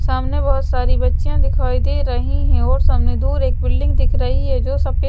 सामने बहुत सारी बच्चियां दिखाई दे रही हैंऔर सामने दूर एक बिल्डिंग दिख रही है जो सभी--